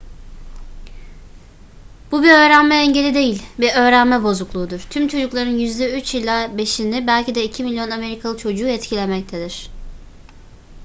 bu bir öğrenme engeli değil bir öğrenme bozukluğudur tüm çocukların yüzde 3 ila 5'ini belki de 2 milyon amerikalı çocuğu etkilemektedir